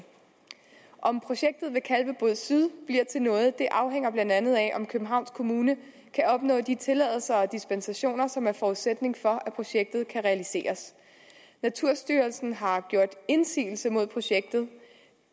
om projektet ved kalvebod syd bliver til noget afhænger blandt andet af om københavns kommune kan opnå de tilladelser og dispensationer som er forudsætning for at projektet kan realiseres naturstyrelsen har gjort indsigelse mod projektet